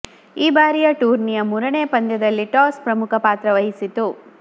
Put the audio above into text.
ಈ ಬಾರಿಯ ಟೂರ್ನಿಯ ಮೂರನೇ ಪಂದ್ಯದಲ್ಲಿ ಟಾಸ್ ಪ್ರಮುಖ ಪಾತ್ರ ವಹಿಸಿತು